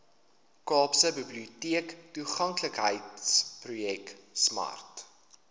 kaapstadse biblioteektoeganklikheidsprojek smart